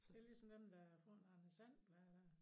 Det lige som dem der får noget Anders And blade